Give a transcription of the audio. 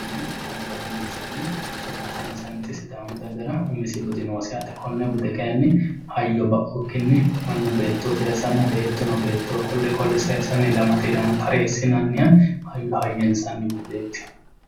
budu yineemmo woyte ,hayyo hayyinsanni sokka saynsanni sidaamu dagara danchu budi noosi hayyo ba'ukkinni annu beettoho saysano beettuno qole qole ilamate saysinsanni taresinanniha budeho